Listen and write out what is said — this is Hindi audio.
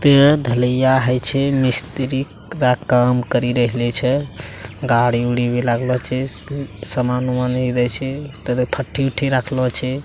ते ढलैया होइ छे। मिस्री पूरा काम करी रहलो छे। गाड़ी-उड़ी भी लागलो छे। स सामान उमान भी रई छे तर फठी-उठी भी रखलो छे।